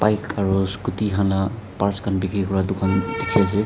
aru scooty khan laga parts khan bikiri kura dukan dekhi ase.